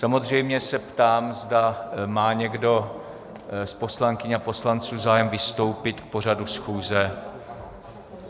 Samozřejmě se ptám, zda má někdo z poslankyň a poslanců zájem vystoupit k pořadu schůze.